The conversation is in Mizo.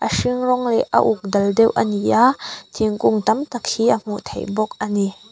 a hring rawng leh a uk dal deuh a ni a thingkung tam tak hi a hmuh theih bawk a ni.